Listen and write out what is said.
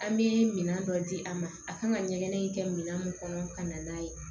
An bɛ minɛn dɔ di a ma a kan ka ɲɛgɛn in kɛ min kɔnɔ ka na n'a ye